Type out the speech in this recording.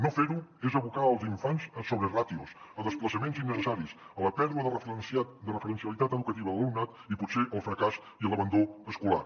no fer ho és abocar els infants a sobreràtios a desplaçaments innecessaris a la pèrdua de referencialitat educativa de l’alumnat i potser al fracàs i a l’abandó escolar